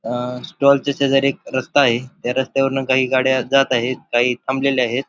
अ stall च्या शेजारी एक रस्ता आहे त्या रस्त्यावरून काही गाड्या जात आहेत काही थांबलेल्या आहेत.